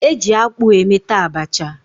Eji akpụ emeta Abacha